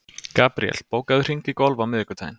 Gabríel, bókaðu hring í golf á miðvikudaginn.